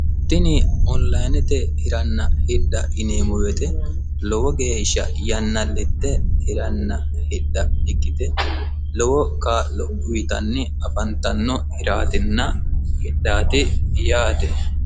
tini onilayinete hiranna hidha yineemmo wote lowo geeshsha yannalitte hiranna hidha ikkite lowo kaa'lo uyiitanni afantanno hiraatinna hidhaati yaate.